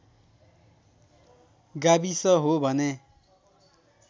गाविस हो भने